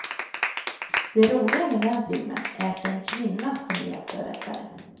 Det roliga med den filmen är att det är en kvinna som är hjälte och räddare.